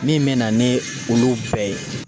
Min mɛna ni olu bɛɛ ye